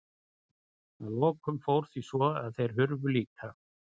Að lokum fór því svo að þeir hurfu líka.